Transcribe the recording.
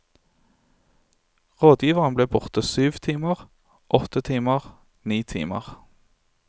Rådgiveren ble borte i syv timer, åtte timer, ni timer.